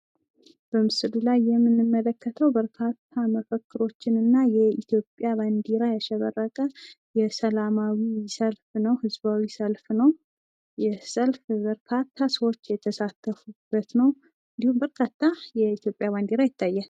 በምስሉ ላይ የምንመለከተው በርካታ መፈክሮች እና የኢትዮጵያ ባንድራ ያሸበረቀ ሰላማዊ ሰልፍ ነው ፤ በርካታ ሰዎች የተሳተፉበት እና እንዲሁም በርካታ የኢትዮጵያ ባንዲራ ይታያል ።